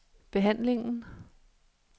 behandlingen